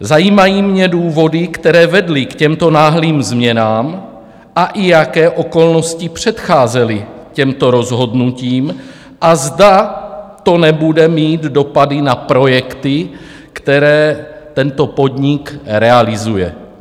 Zajímají mě důvody, které vedly k těmto náhlým změnám, a i jaké okolnosti předcházely těmto rozhodnutím a zda to nebude mít dopady na projekty, které tento podnik realizuje.